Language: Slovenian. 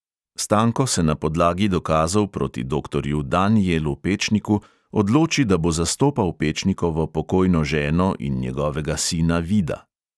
Stanko se na podlagi dokazov proti doktorju danijelu pečniku odloči, da bo zastopal pečnikovo pokojno ženo in njegovega sina vida.